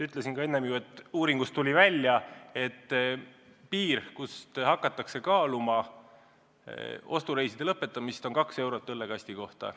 Ütlesin ju, et uuringust tuli välja, et piir, kust alates hakatakse kaaluma ostureiside lõpetamist, on 2 eurot õllekasti kohta.